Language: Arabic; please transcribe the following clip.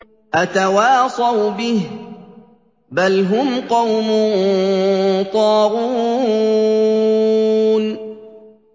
أَتَوَاصَوْا بِهِ ۚ بَلْ هُمْ قَوْمٌ طَاغُونَ